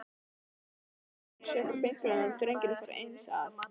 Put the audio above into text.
Jóra lagði frá sér pinklana og drengurinn fór eins að.